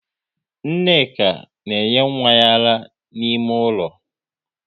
Nneka na enye nwa ya ara n'ime ụlọ